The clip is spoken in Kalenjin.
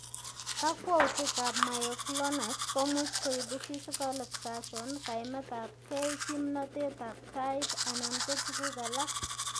Kakwautik ab myoclonus komuch koibu physical exertion, kaimetab gei, kimnotet ab tait anan ko tuguk alak